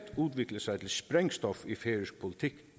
udvikle sig til sprængstof i færøsk politik